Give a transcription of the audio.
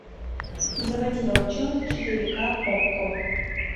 заводи волчонок четыре ка окко